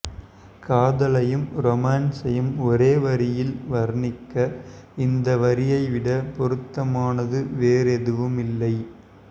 காதலையும் ரொமான்ஸையும் ஒரே வரியில் வர்ணிக்க இந்த வரியை விட பொருத்தமானது வேறெதுவும் இல்லை